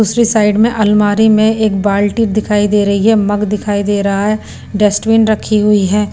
दूसरी साइड में अलमारी में एक बाल्टी दिखाई दे रही है मग दिखाई दे रहा है डेस्टबिन रखी हुई है।